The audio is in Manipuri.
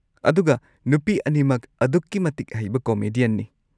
ꯑꯗꯨꯒ ꯅꯨꯄꯤ ꯑꯅꯤꯃꯛ ꯑꯗꯨꯛꯀꯤ ꯃꯇꯤꯛ ꯍꯩꯕ ꯀꯣꯃꯦꯗꯤꯌꯟꯅꯤ꯫